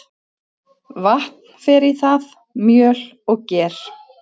Vatn fer í það, mjöl og ger.